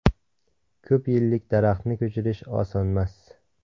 Ko‘p yillik daraxtni ko‘chirish osonmas.